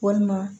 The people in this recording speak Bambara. Walima